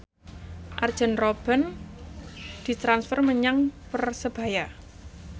Arjen Robben ditransfer menyang Persebaya